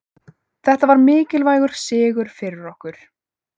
Þetta var mikilvægur sigur fyrir okkur